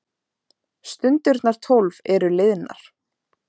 Stundirnar tólf eru liðnar.